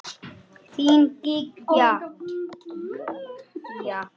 Þín, Gígja.